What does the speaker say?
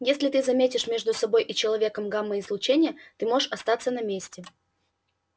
если ты заметишь между собой и человеком гамма-излучение ты можешь остаться на месте